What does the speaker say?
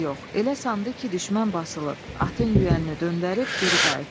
Elə sandı ki, düşmən basılıb, atın yüyənini döndərib geri qayıtdı.